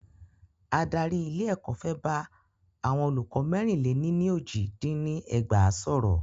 Adarí ilé ẹ̀kọ́ fẹ́ bá àwọn olùkọ́ mẹ́rìn le ní ní ójì dín ní ẹgbàá sọ̀rọ́.